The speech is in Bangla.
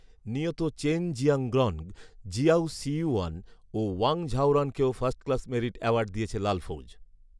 নিহত চেন জিয়াংগ্রনগ, জিয়াউ সিইউয়ান ও ওয়াং ঝউরানকেও ‘ফার্স্ট ক্লাস মেরিট’ অ্যাওয়ার্ড দিয়েছে লালফৌজ